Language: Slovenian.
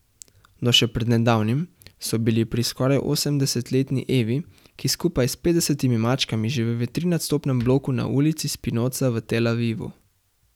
Do še pred nedavnim so bili pri skoraj osemdesetletni Evi, ki skupaj s petdesetimi mačkami živi v trinadstropnem bloku na ulici Spinoza v Tel Avivu.